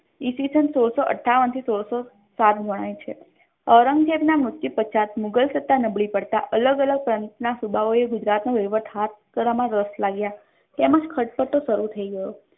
ઈસ્વીસન સોળસો અઠવાન થી ઈસ્વીસન સોળસો સાત ગણાય છે ઔરંગઝેબ ના મ્ર્ત્યુ પશ્ચાત મુઘલ સત્તા નબળી પડતા અલગ અલગ પંત ના સુબાઓએ ગુજરાત નો વૈવાહટ મા રસ લેવા લાગ્યા તેમજ ખાતળતરો શરુ થઇ ગયો